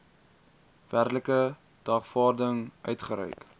werklike dagvaarding uitgereik